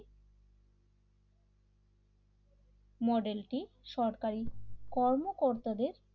মডেলটি সরকারি কর্মকর্তাদের